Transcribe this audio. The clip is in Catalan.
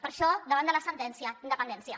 per això davant de la sentència independència